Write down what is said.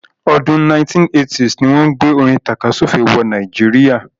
ọdún 1980s ni wọ́n gbé orin tàkasúfèé wọ Nàìjíríà.